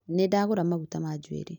Nĩndagũra maguta ma njuĩrĩ